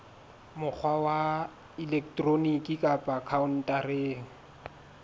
mokgwa wa elektroniki kapa khaontareng